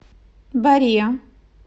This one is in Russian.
боре